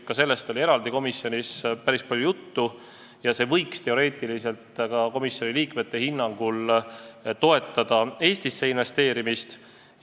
Ka sellest oli komisjonis päris palju juttu, see võiks teoreetiliselt ka komisjoni liikmete hinnangul toetada Eestisse investeerimist.